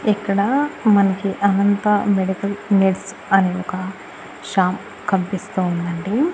ఇక్కడా మనకి Anantha medical needs అని ఒక షామ్ కనిపిస్తూ ఉండండి.